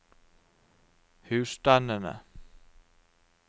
husstandene